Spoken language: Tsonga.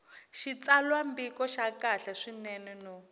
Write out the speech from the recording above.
xitsalwambiko xa kahle swinene no